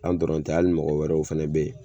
An dɔrɔn tɛ ali mɔgɔ wɛrɛw fɛnɛ be yen